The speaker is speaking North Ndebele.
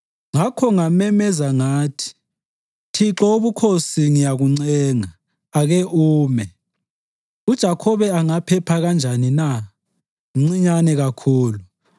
Ngakho ngamemeza ngathi “ Thixo Wobukhosi, ngiyakuncenga, ake ume! UJakhobe angaphepha kanjani na? Mncinyane kakhulu!”